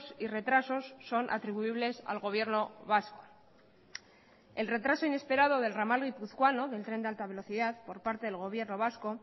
y retrasos son atribuibles al gobierno vasco el retraso inesperado del ramal guipuzcoano del tren de alta velocidad por parte del gobierno vasco